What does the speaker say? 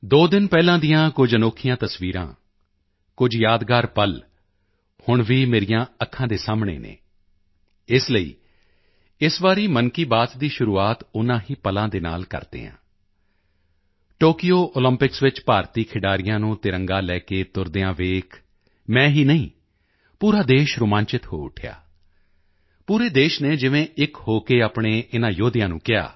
ਦੋ ਦਿਨ ਪਹਿਲਾਂ ਦੀਆਂ ਕੁਝ ਅਨੋਖੀਆਂ ਤਸਵੀਰਾਂ ਕੁਝ ਯਾਦਗਾਰ ਪਲ ਹੁਣ ਵੀ ਮੇਰੀਆਂ ਅੱਖਾਂ ਦੇ ਸਾਹਮਣੇ ਹਨ ਇਸ ਲਈ ਇਸ ਵਾਰੀ ਮਨ ਕੀ ਬਾਤ ਦੀ ਸ਼ੁਰੂਆਤ ਉਨ੍ਹਾਂ ਹੀ ਪਲਾਂ ਨਾਲ ਕਰਦੇ ਹਨ ਟੋਕਯੋ ਓਲੰਪਿਕਸ ਵਿੱਚ ਭਾਰਤੀ ਖਿਡਾਰੀਆਂ ਨੂੰ ਤਿਰੰਗਾ ਲੈ ਕੇ ਤੁਰਦਿਆਂ ਵੇਖ ਮੈਂ ਹੀ ਨਹੀਂ ਪੂਰਾ ਦੇਸ਼ ਰੋਮਾਂਚਿਤ ਹੋ ਉੱਠਿਆ ਪੂਰੇ ਦੇਸ਼ ਨੇ ਜਿਵੇਂ ਇੱਕ ਹੋ ਕੇ ਆਪਣੇ ਇਨ੍ਹਾਂ ਯੋਧਿਆਂ ਨੂੰ ਕਿਹਾ